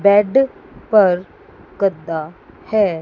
Bad पर गद्दा हैं।